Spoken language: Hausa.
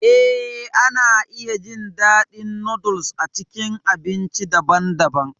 Eh, ana iya jin daɗin noodles a cikin abinci daban-daban.